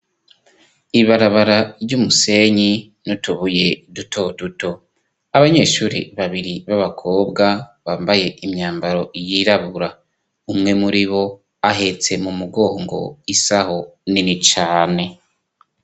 Ibarabara ry'umusenyi n'utubuye duto duto, abanyeshure babiri b'abakobwa bambaye imyambaro yirabura, umwe muri bo ahetse mu mugongo isaho nini cane.